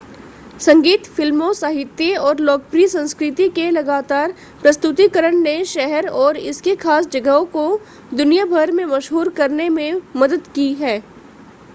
संगीत फ़िल्मों साहित्य और लोकप्रिय संस्कृति के लगातार प्रस्तुतिकरण ने शहर और इसकी खास जगहों को दुनिया भर में मशहूर करने में मदद की है